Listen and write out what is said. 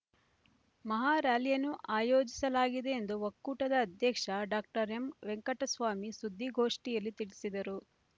ಮಹಾ ಱ್ಯಾಲಿಯನ್ನು ಆಯೋಜಿಸಲಾಗಿದೆ ಎಂದು ಒಕ್ಕೂಟದ ಅಧ್ಯಕ್ಷ ಡಾಕ್ಟರ್ ಎಂ ವೆಂಕಟಸ್ವಾಮಿ ಸುದ್ಧಿಗೋಷ್ಠಿಯಲ್ಲಿ ತಿಳಿಸಿದರು